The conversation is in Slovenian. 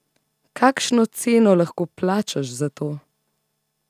Kakšno ceno lahko plačaš za to?